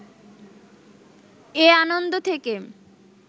এ আনন্দ থেকে